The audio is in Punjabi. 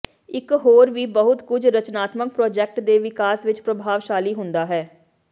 ਇਹ ਹੋਰ ਵੀ ਬਹੁਤ ਕੁਝ ਰਚਨਾਤਮਕ ਪ੍ਰਾਜੈਕਟ ਦੇ ਵਿਕਾਸ ਵਿੱਚ ਪ੍ਰਭਾਵਸ਼ਾਲੀ ਹੁੰਦਾ ਹੈ